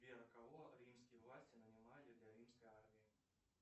сбер а кого римские власти нанимали для римской армии